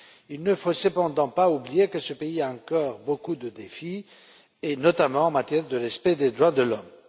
Il ne faut cependant pas oublier que ce pays a encore beaucoup de défis à relever, et notamment en matière de respect des droits de l'homme.